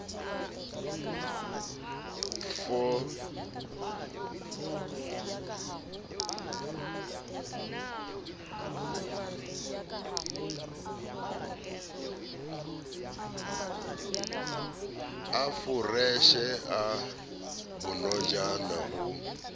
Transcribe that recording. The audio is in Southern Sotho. a foreshe a bonojana ho